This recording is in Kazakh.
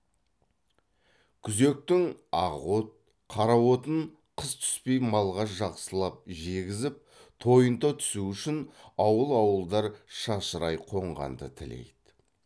күзектің ақ от қара отын қыс түспей малға жақсылап жегізіп тойынта түсу үшін ауыл ауылдар шашырай қонғанды тілейді